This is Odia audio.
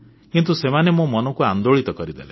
କିନ୍ତୁ ସେମାନେ ମୋ ମନକୁ ଆନ୍ଦୋଳିତ କରିଦେଲେ